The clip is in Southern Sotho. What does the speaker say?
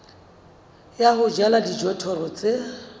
ya ho jala dijothollo tse